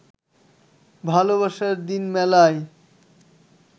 ভালোবাসার দিন মেলায়